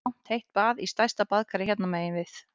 Ég fer í langt heitt bað í stærsta baðkari hérna megin við